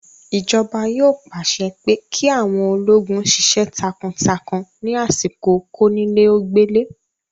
Ìjọba yóò pàṣẹ pé kí àwọn ológun sisẹ́ takuntakun ní àsìkò kónílé-ó-gbélé